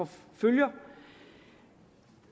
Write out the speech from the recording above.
følgerne